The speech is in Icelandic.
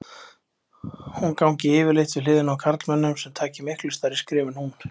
Hún gangi yfirleitt við hliðina á karlmönnum sem taki miklu stærri skref en hún.